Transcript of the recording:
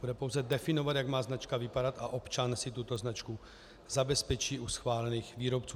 Bude pouze definovat, jak má značka vypadat, a občan si tuto značku zabezpečí u schválených výrobců.